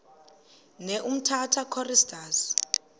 ne umtata choristers